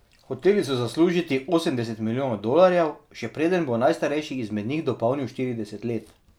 Hoteli so zaslužiti osemdeset milijonov dolarjev, še preden bo najstarejši izmed njih dopolnil štirideset let.